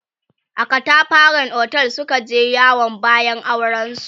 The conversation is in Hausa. a katafaran otel Suka je yawon bayan auren su